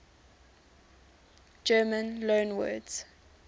german loanwords